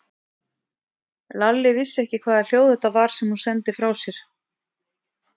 Lalli vissi ekki hvaða hljóð þetta var sem hún sendi frá sér.